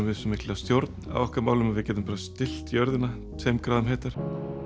svo mikla stjórn á okkar málum að við getum bara stillt jörðina tveim gráðum heitar